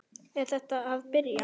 Er þetta að byrja?